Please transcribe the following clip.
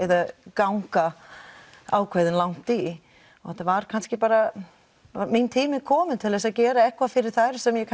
ganga ákveðið langt í og þetta var kannski bara minn tími kominn til að gera eitthvað fyrir þær sem ég